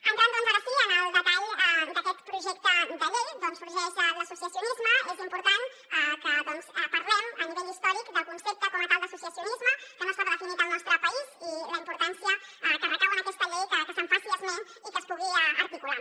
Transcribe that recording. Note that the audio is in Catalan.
entrant doncs ara sí en el detall d’aquest projecte de llei d’on sorgeix l’associacionisme és important que parlem a nivell històric del concepte com a tal d’associacionisme que no estava definit al nostre país i la importància que recau en aquesta llei que se’n faci esment i que es pugui articular